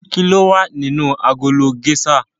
Kilowa nínú agolo géṣà?